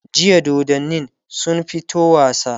jiya dodannin sun fito wasa